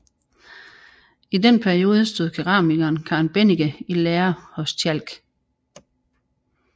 I den periode stod keramikeren Karen Bennicke i lære hos Tjalk